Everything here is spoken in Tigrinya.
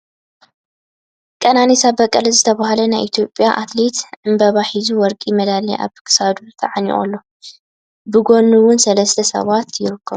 ቀናኒሳ በቀለ ዝተበሃለ ናይ ኢትዮጵያ ኣትልየት ዕምበባ ሒዙ ወርቂ መዳልያ ኣብ ኪሳዱ ተዓኒቁ ኣሎ ። ብ ጎኑ እውን ሰለስተ ሰባት ይርከቡ ።